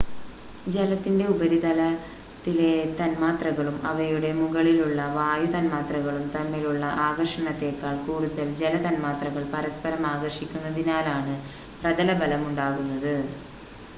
ജലത്തിൻ്റെ ഉപരിതലത്തിലെ തന്മാത്രകളും അവയുടെ മുകളിലുള്ള വായു തന്മാത്രകളും തമ്മിലുള്ള ആകർഷണത്തെക്കാൾ കൂടുതൽ ജല തന്മാത്രകൾ പരസ്പരം ആകർഷിക്കുന്നതിനാലാണ് പ്രതലബലം ഉണ്ടാകുന്നത്